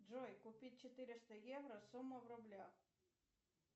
джой купить четыреста евро сумма в рублях